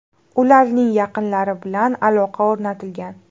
Ularning yaqinlari bilan aloqa o‘rnatilgan”.